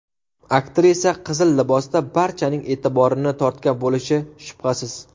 Aktrisa qizil libosda barchaning e’tiborini tortgan bo‘lishi shubhasiz.